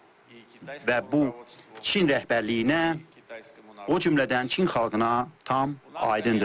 Və bu Çin rəhbərliyinə, o cümlədən Çin xalqına tam aydındır.